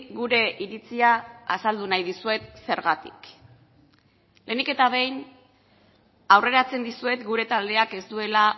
gure iritzia azaldu nahi dizuet zergatik lehenik eta behin aurreratzen dizuet gure taldeak ez duela